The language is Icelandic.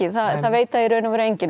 það veit það í raun og veru enginn